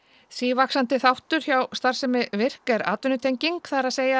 sívaxandi þáttur hjá starfsemi virk er atvinnutenging það er